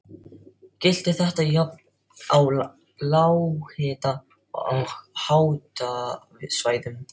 Gilti þetta jafnt á lághita- og háhitasvæðum.